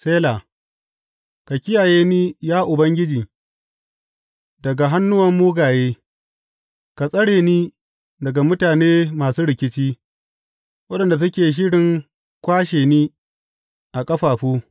Sela Ka kiyaye ni, ya Ubangiji, daga hannuwan mugaye; ka tsare ni daga mutane masu rikici waɗanda suke shirin kwashe ni a ƙafafu.